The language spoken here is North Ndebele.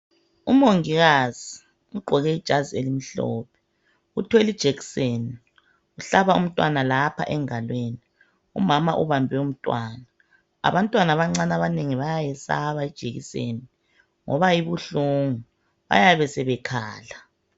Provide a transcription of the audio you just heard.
Umongikazi ugqoke ijazi elimhlophe , uthwele ijekiseni uhlaba umntwana lapha engalweni , umama ubambe umntwana . Abantwana abanengi bayayisaba ijekiseni ngoba ibuhlungu bayabe sebekhala